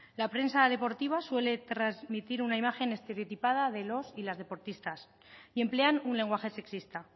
la prensa deportiva suele transmitir una imagen estereotipada de los y las deportistas y emplean un lenguaje sexista